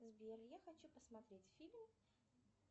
сбер я хочу посмотреть фильм